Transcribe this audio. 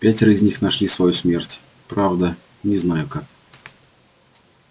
пятеро из них нашли свою смерть правда не знаю как